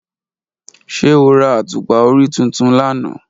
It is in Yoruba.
Ṣe o ra atupa ori tuntun lana?